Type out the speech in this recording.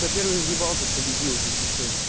кто первый въебал тот победил зачастую